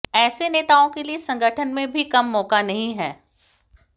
ऐसे नेताओं के लिए संगठन में भी कम मौका नहीं है